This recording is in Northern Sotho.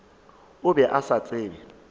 o be a sa tsebe